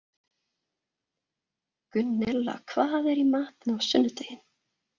Gunnella, hvað er í matinn á sunnudaginn?